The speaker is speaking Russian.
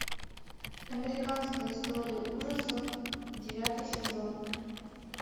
американская история ужасов девятый сезон